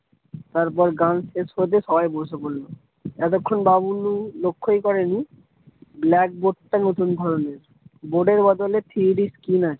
তারপর গান শেষ হতে সবাই বসে পড়লো। এতক্ষন বাবলু লক্ষই করেনি blackboard টা নতুন ধরণের board এর বদলে three D screen আছে।